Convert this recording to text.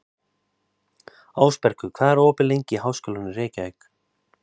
Ásbergur, hvað er opið lengi í Háskólanum í Reykjavík?